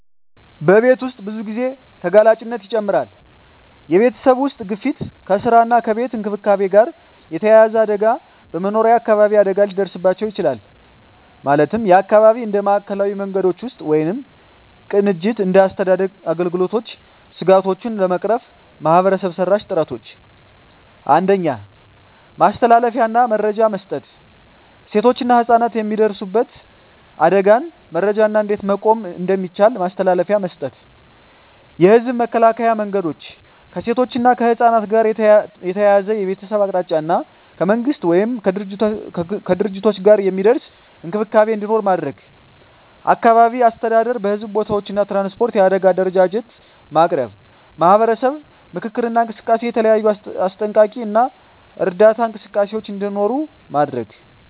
በቤት ውስጥ ብዙ ጊዜ ተጋላጭነት ይጨምራል የቤተሰብ ውስጥ ግፊት ከስራ እና ከቤት እንክብካቤ ጋር የተያያዘ አደጋ በመኖሪያ አካባቢ አደጋ ሊደርስባቸው ይችላል (የአካባቢ እንደ ማዕከላዊ መንገዶች ውስጥ ወይም ቅንጅት እንደ አስተዳደር አገልግሎቶች ስጋቶቹን ለመቅረፍ ማህበረሰብ-መራሽ ጥረቶች 1. ማስተላለፊያ እና መረጃ መስጠት ሴቶችና ህፃናት የሚደርሱበት አደጋን መረጃ እና እንዴት መቆም እንደሚቻል ማስተላለፊያ መስጠት። የህዝብ መከላከያ መንገዶች ከሴቶች እና ከህፃናት ጋር ተያያዘ የቤተሰብ አቅጣጫ እና ከመንግሥት ወይም ከድርጅቶች ጋር የሚደርስ እንክብካቤ እንዲኖር ማድረግ። አካባቢ አስተዳደር በሕዝብ ቦታዎች እና ትራንስፖርት የአደጋ አደረጃጀት ማቅረብ። ማህበረሰብ ምክክር እና እንቅስቃሴ የተለያዩ አስጠንቀቂ እና እርዳታ እንቅስቃሴዎች እንዲኖሩ ማድረግ።